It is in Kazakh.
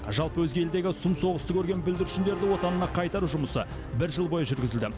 жалпы өзге елдегі сұм соғысты көрген бүлдіршіндерді отанына қайтару жұмысы бір жыл бойы жүргізілді